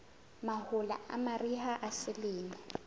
mahola a mariha a selemo